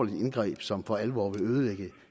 indgreb som for alvor vil ødelægge